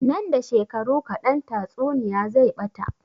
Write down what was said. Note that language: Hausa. Nan da shekaru kaɗan tatsuniya zai ɓata